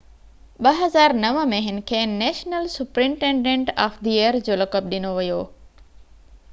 2009 ۾ هن کي national superintendent of the year جو لقب ڏنو ويو